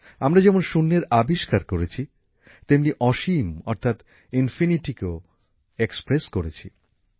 আমরা যেমন শূন্যের আবিষ্কার করেছি তেমনি অসীম অর্থাৎ ইনফিনিটিকেও প্রকাশ করেছি